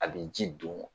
A bɛ ji don